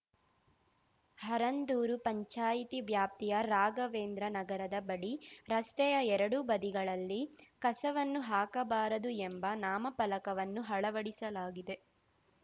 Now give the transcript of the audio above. ಹರಂದೂರು ಪಂಚಾಯಿತಿ ವ್ಯಾಪ್ತಿಯ ರಾಘವೇಂದ್ರ ನಗರದ ಬಳಿ ರಸ್ತೆಯ ಎರಡೂ ಬದಿಗಳಲ್ಲಿ ಕಸವನ್ನು ಹಾಕಬಾರದು ಎಂಬ ನಾಮಫಲಕವನ್ನು ಅಳವಡಿಸಲಾಗಿದೆ